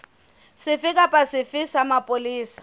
sefe kapa sefe sa mapolesa